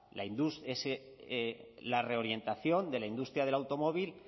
la reorientación de la industria del automóvil